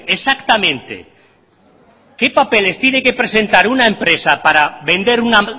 exactamente qué papeles tiene que presentar una empresa para vender una